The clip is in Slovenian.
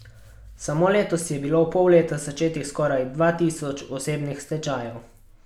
Samo letos je bilo v pol leta začetih skoraj dva tisoč osebnih stečajev.